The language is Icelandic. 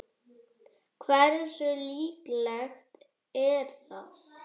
Hversu líklegt er það?